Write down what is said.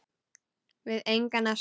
Við engan að sakast